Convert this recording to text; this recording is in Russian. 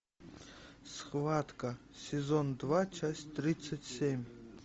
схватка сезон два часть тридцать семь